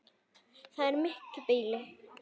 Það er mikið býli.